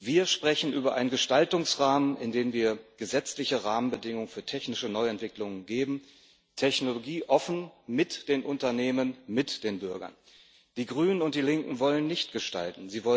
Wir sprechen über einen Gestaltungsrahmen, in den wir gesetzliche Rahmenbedingungen für technische Neuentwicklungen geben, technologieoffen, mit den Unternehmen, mit den Bürgern. Die Grünen und die Linken wollen nicht gestalten.